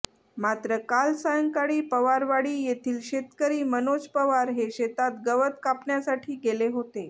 मात्र काल सायंकाळी पवारवाडी येथील शेतकरी मनोज पवार हे शेतात गवत कापण्यासाठी गेले होते